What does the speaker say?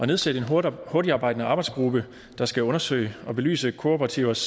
nedsætte en hurtigtarbejdende arbejdsgruppe der skal undersøge og belyse kooperativers